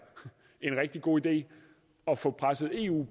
en rigtig god idé at få presset eu